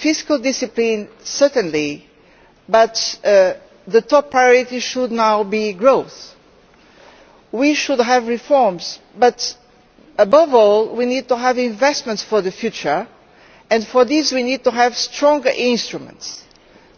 Fiscal discipline certainly but the top priority should now be growth. We should have reforms, but above all we need to have investments for the future, and for this we need to have stronger instruments